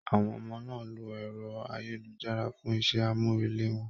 Àwọn ọmọ náà ló ẹrọ ayélujára for iṣẹ amurele wọn.